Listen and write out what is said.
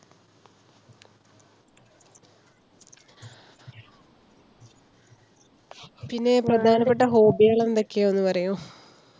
പിന്നെ പ്രധാനപ്പെട്ട hobby കളെന്ത്യോക്യാന്നു പറയോ?